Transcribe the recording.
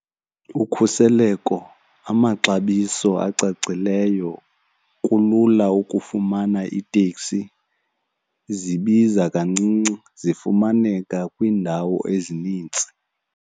Ukhuseleko, amaxabiso acacileyo, kulula ukufumana iteksi, zibiza kancinci, zifumaneka kwiindawo ezinintsi.